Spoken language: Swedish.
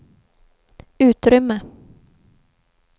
utrymme